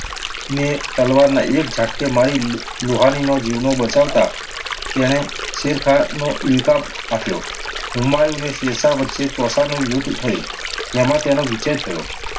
ને તલવારના એક ઝાટકે મારી લો~લોહાનીનો જીવ બચાવતાં તેણે શેરખાન નો ઇલકાબ આપ્યો. હુમાયુ અને શેરશાહ વચ્ચે ચૌસાનું યુદ્ધ થયું, જેમાં તેનો વિજય થયો.